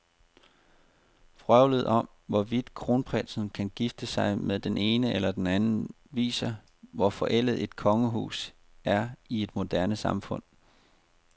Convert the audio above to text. Vrøvlet om, hvorvidt kronprinsen kan gifte sig med den ene eller den anden, viser, hvor forældet et kongehus er i et moderne samfund.